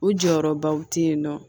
U jɔyɔrɔbaw tɛ yen nɔ